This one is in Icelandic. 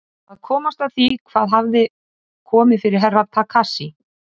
Að komast að því hvað hafði komið fyrir Herra Takashi.